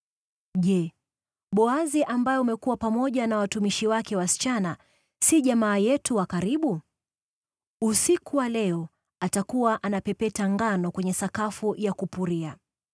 Je, Boazi, ambaye umekuwa pamoja na watumishi wake wasichana, si jamaa yetu wa karibu? Usiku wa leo atakuwa anapepeta ngano kwenye sakafu ya kupuria.